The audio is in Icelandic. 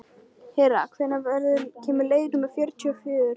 Hera, hvenær kemur leið númer fjörutíu og fjögur?